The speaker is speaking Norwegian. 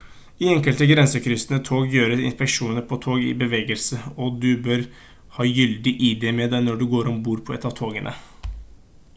i enkelte grensekryssende tog gjøres inspeksjoner på tog i bevegelse og du bør ha gyldig id med deg når du går om bord på et av togene